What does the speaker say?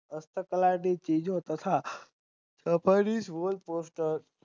ચીજે તથા